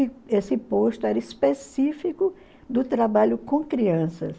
E esse posto era específico do trabalho com crianças.